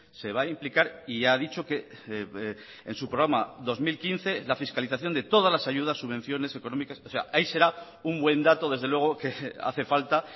se va a implicar y ya ha dicho que en su programa dos mil quince la fiscalización de todas las ayudas subvenciones económicas o sea ahí será un buen dato desde luego que hace falta